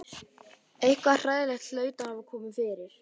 Eitthvað hræðilegt hlaut að hafa komið fyrir.